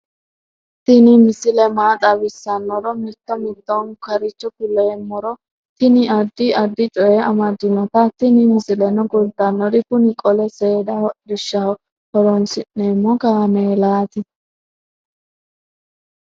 tini misile maa xawissannoro mito mittonkaricho kulummoro tini addi addicoy amaddinote tini misileno kultannori kuni qole seeda hodhishshaho horoonsi'neemo kaameelati